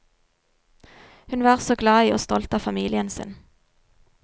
Hun var så glad i og stolt av familien sin.